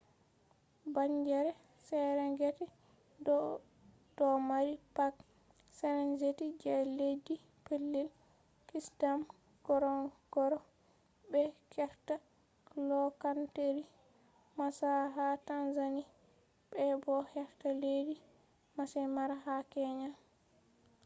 bangeere serengeti do mari park serengeti je leddi pellel kisndam ngorongoro be heerta loohanteeri maswa ha tanzania be bo heerta leddi maasai mara ha kenya